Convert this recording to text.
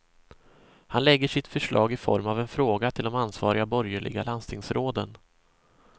Han lägger sitt förslag i form av en fråga till de ansvariga borgerliga landstingsråden.